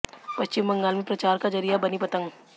पश्चिम बंगाल में प्रचार का जरिया बनी पतंग